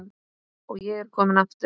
Og ég er kominn aftur!